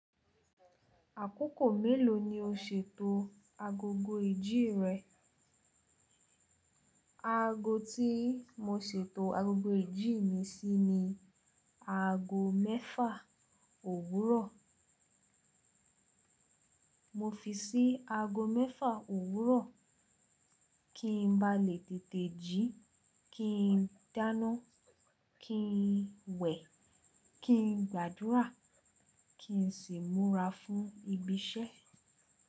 Àkókò mélòó ni o ṣètò agogo ìjí rẹ? Aago tí mo ṣètò agogo ìjí mi sí ni aago mẹ́fa òwúrọ̀. Mo fi sí aago mẹ́fa òwúrọ̀, kí n ba lè tètè jí, kí n dáná, kí n wẹ̀, kí n gbàdúrà, kí n sì múra fún ibi iṣẹ́.